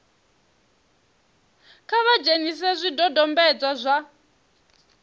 kha vha dzhenise zwidodombedzwa zwa